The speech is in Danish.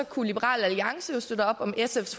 kunne liberal alliance jo støtte op om sfs